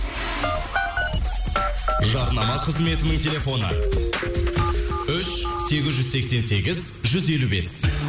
жарнама қызметінің телефоны үш сегіз жүз сексен сегіз жүз елу бес